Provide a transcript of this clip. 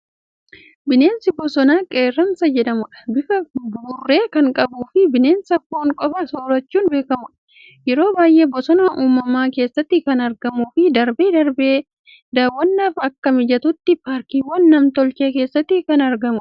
Bineensa bosonaa Qeerransa jedhamuudha. Bifa buburree kan qabuufii bineensa foon qofa soorachuun beekamuudha. Yeroo baay'ee bosona uumamaa keessatti kan argamuu fii darbee darbee daawwannaaf akka mijatutti paarkiwwan nam-tolchee keessatti kan argamuudha.